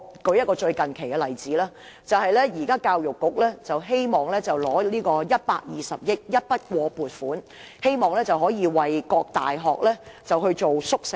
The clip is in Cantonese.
我列舉最近的例子。教育局希望申請120億元的一筆過撥款，以基金形式為各大學興建宿舍。